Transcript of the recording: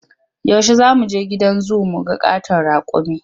Yaushe za mu je gidan zu mu ga ƙaton raƙumi?